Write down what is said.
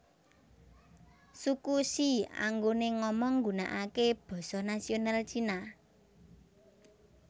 Suku She anggone ngomong nggunakake basa nasional Cina